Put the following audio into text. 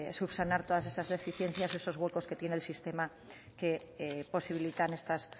subsanar todas esas deficiencias eso los huecos que tiene el sistema que posibilitan estas